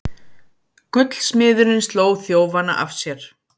Gullsmiðurinn sló þjófana af sér